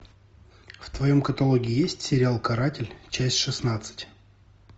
в твоем каталоге есть сериал каратель часть шестнадцать